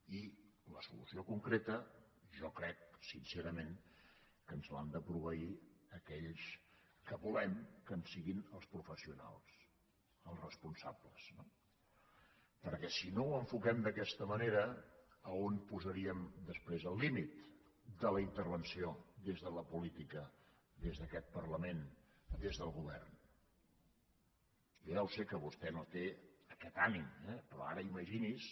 i la solució concreta jo crec sincerament que ens l’han de proveir aquells que volem que en siguin els professionals els responsables no perquè si no ho enfoquem d’aquesta manera on posaríem després el límit de la intervenció des de la política des d’aquest parlament des del govern jo ja ho sé que vostè no té aquest ànim eh però ara imagini’s